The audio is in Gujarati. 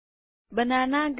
banana green